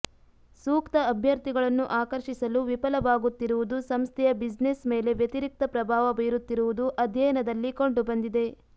ಸೂಕ್ತ ಅಭ್ಯರ್ಥಿಗಳನ್ನು ಆಕರ್ಷಿಸಲು ವಿಫಲವಾಗುತ್ತಿರುವುದು ಸಂಸ್ಥೆಯ ಬ್ಯುಸಿನೆಸ್ ಮೇಲೆ ವ್ಯತಿರಿಕ್ತ ಪ್ರಭಾವ ಬೀರುತ್ತಿರುವುದು ಅಧ್ಯಯನದಲ್ಲಿ ಕಂಡುಬಂದಿದೆ